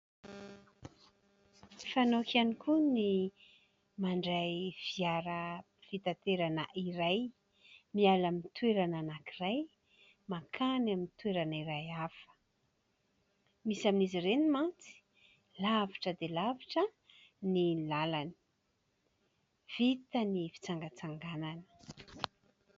Fanaoko ihany koa ny mandray fiara fitanterana iray miala amin'ny toerana anankiray mankany amin'ny toerana iray hafa. Misy amin'izy ireny mantsy lavitra dia lavitra ny lalany.